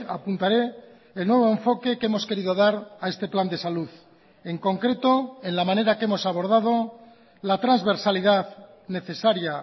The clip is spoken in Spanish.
apuntaré el nuevo enfoque que hemos querido dar a este plan de salud en concreto en la manera que hemos abordado la transversalidad necesaria